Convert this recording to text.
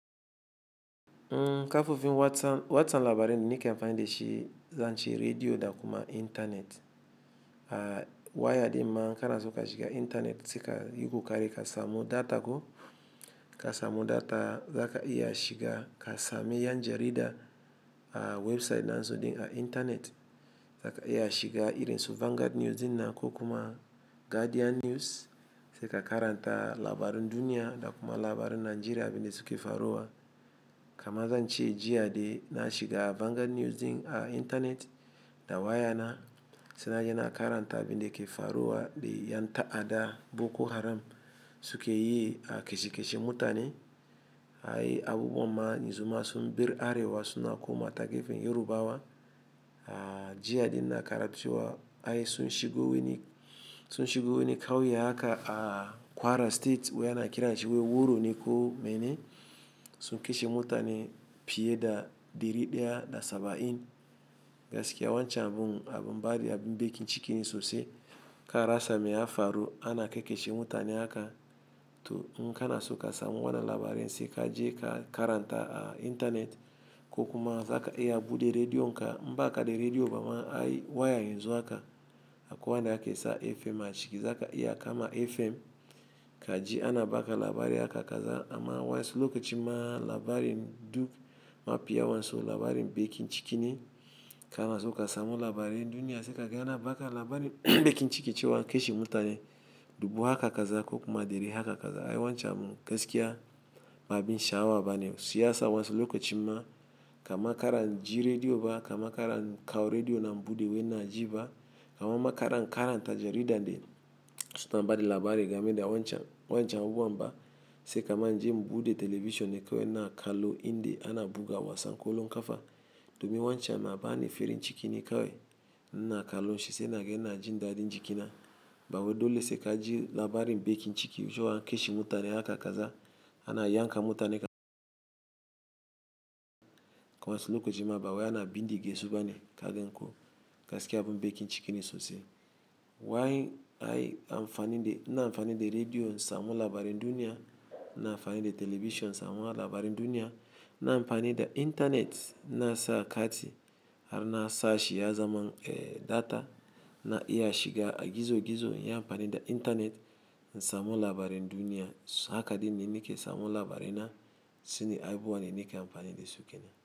Kafofin watsa labarai, nike amfani da shi zan ci rediyo, ɗakuma intanet. Wayar ɗiman kana so ka shiga intanet, sai ka yi ƙoƙari ka samu data ko ka samu data zaka iya shiga ka same 'yan jarida a website nan suɗin a intanet. Zaka iya shiga irin su Vanguard News din ko kuma Guardian News sai ka karanta labarin duniya ɗakuma labarin Najeriya abin da suke faruwa. Kamazan ci jiya de na shiga Vanguard News din a intanet da wayana, sai na yana karanta abin da ke faruwa dai ƴan ta'adda Boko Haram suke yi a kashe-kashe mutane. Ai abubuwan ma ni zuma sun bi Arewa suna koma ta gefen Yorubawa. A jiya din na karance wa ai sun shigo wani, sun shigo wani ƙauye haka a Kwara State wayana kira shi Wuro Nikko mane sun kashe mutane fiye da ɗari ɗaya da saba'in. Gaskiya wancan abun, abin baɗi abin bakin ciki ne sosai. Ka rasa me ya faru ana kai kashe mutane haka to n'kana so ka samu wannan labarin sai ka je ka karanta a intanet ko kuma zaka iya buɗe rediyo. Inka inba kaɗai rediyo bama ai waya yanzu haka akwai wanda ake sa FM a ciki zaka iya kama FM ka ji ana baka labari haka kaza. Amma wasu lokaci ma labarin duk mapiya wanso labarin bakin ciki ne. Kana so ka samu labarin duniya sai ka ga ana baka labarin bakin ciki cewa an kashe mutane dubu haka kaza ko kuma ɗari haka kaza. Ai wancan mun gaskiya ma bin sha'awa bane. Siyasa wasu lokaci ma, kama ka ran ji rediyo ba, kama ka ran kawo rediyo na buɗe wai na ji ba, kama ma ka ran karanta jarida de suna ba da labari game da wancan, wancan abubuwan ba. Sai kamar je mu buɗe television kawai na kallo in de ana buga wasan ƙwallon ƙafa. Domin wancan na ba ni farin ciki ne kawai. Na kallo shiyasa naga yana jin daɗin jikina. Ba wai do lese ka ji labarin bakin ciki cewa an kashe mutane haka kaza ana yanka mutane wasu lokaci ma ba waya na bin gizo bane ka ganko. Gaskiya abin baƙin ciki ne sosai. Wai ai amfani da, na amfani da rediyo in samu labarin duniya. Na amfani da television in samu labarin duniya. Na amfani da intanet na sa kati har na sashi ya zama, eh, data na iya shiga gizo-gizo inyi amfani da intanet in samu labarin duniya. Haka din ne nike samu labarai na. Sune abubuwan da nike amfani da suke na.